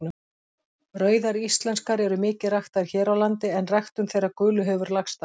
Rauðar íslenskar eru mikið ræktaðar hér á landi en ræktun þeirra gulu hefur lagst af.